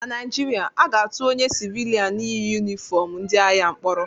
Na Naijiria, aga-atụ onye sịvịlịan yi yunifọm ndị agha mkpọrọ